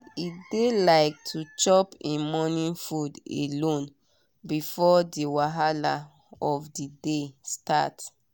e dey like to chop em morning food alone before the wahala of the day start.